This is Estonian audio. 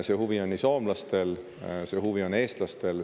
See huvi on soomlastel ja see huvi on eestlastel.